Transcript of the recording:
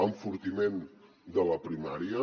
enfortiment de la primària